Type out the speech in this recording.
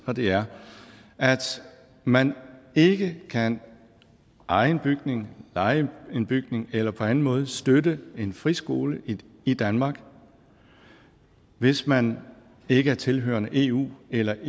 og det er at man ikke kan eje en bygning leje en bygning eller på anden måde støtte en friskole i danmark hvis man ikke er tilhørende eu eller